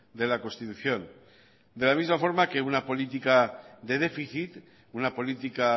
de la constitución de la misma forma que una política de déficit una política